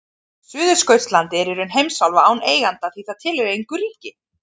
Suðurskautslandið er í raun heimsálfa án eiganda því það tilheyrir engu ríki.